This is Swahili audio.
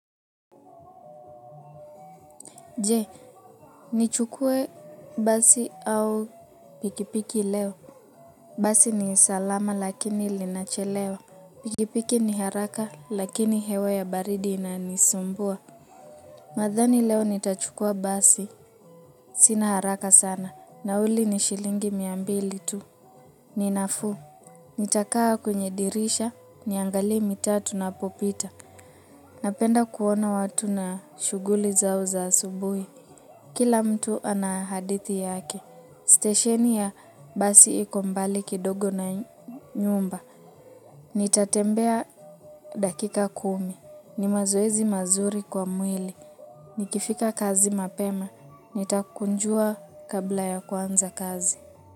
Je, nichukue basi au pikipiki leo. Basi ni salama lakini linachelewa. Pikipiki ni haraka lakini hewa ya baridi inanisumbua. Nadhani leo nitachukua basi. Sina haraka sana. Nauli ni shilingi mia mbili tu. Ni nafuu. Nitakaa kwenye dirisha. Niangalie mitaa tunapopita. Napenda kuona watu na shuguli zao za asubuhi. Kila mtu ana hadithi yaki, stasheni ya basi iko mbali kidogo na nyumba, nitatembea dakika kumi, ni mazoezi mazuri kwa mwili, nikifika kazi mapema, nitakunjua kabla ya kuanza kazi.